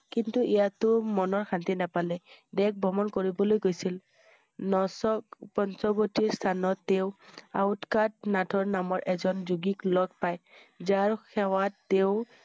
কিন্তু ইয়াতো মনৰ শান্তি নাপালে। দেশ ভ্ৰমণ কৰিবলৈ গৈছিল । নচক পঞ্চৱতী স্থানত তেওঁ ঔকৰ নাথৰ নামত এজন যোগীক লগ পাই । যাৰ সেৱাত তেওঁ